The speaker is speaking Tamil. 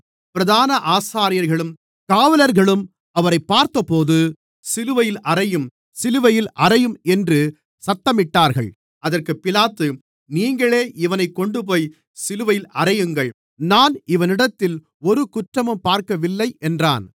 பிரதான ஆசாரியர்களும் காவலர்களும் அவரைப் பார்த்தபோது சிலுவையில் அறையும் சிலுவையில் அறையும் என்று சத்தமிட்டார்கள் அதற்குப் பிலாத்து நீங்களே இவனைக் கொண்டுபோய்ச் சிலுவையில் அறையுங்கள் நான் இவனிடத்தில் ஒரு குற்றமும் பார்க்கவில்லை என்றான்